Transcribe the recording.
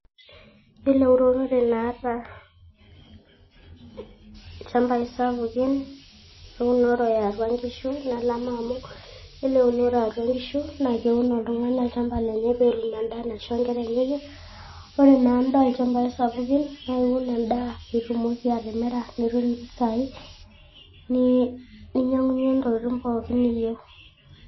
Yiolo eunorote naata ilchambai sapukin, eunore eatua nkishu nelama amu, yiolo eunore eatua nkishu, na keun oltung'ani olchamba lenye peetum endaa naisho nkera enyenyek. Ore na enda olchambai sapukin, na iun endaa pitumoki atimira nitum impisai, ninyang'unye ntokiting' pookin niyieu.